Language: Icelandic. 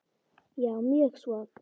Já, mjög svo.